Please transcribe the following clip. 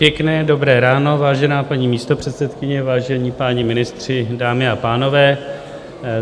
Pěkné dobré ráno, vážená paní místopředsedkyně, vážení páni ministři, dámy a pánové.